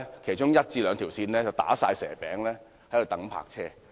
其中一兩條線總是"打蛇餅"，駕車人士都要等泊車。